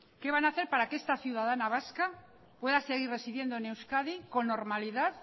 qué van a hacer para que esta ciudadana vasca pueda seguir residiendo en euskadi con normalidad